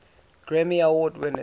grammy award winners